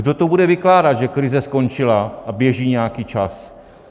Kdo to bude vykládat, že krize skončila a běží nějaký čas?